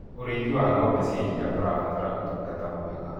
ũrĩithi wa ng'ombe cia iria ũrabatara utungata mwega